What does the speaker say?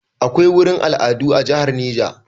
A akwai gurin al'adu a jihar Neja